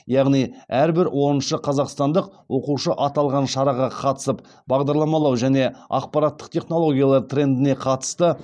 яғни әрбір оныншы қазақстандық оқушы аталған шараға қатысып бағдарламалау және ақпараттық технологиялар трендіне қатысты